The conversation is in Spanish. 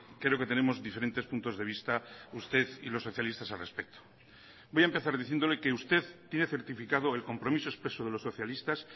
creo que tenemos diferentes puntos de vista usted y los socialistas al respecto voy a empezar diciéndole que usted tiene certificado el compromiso expreso de los socialistas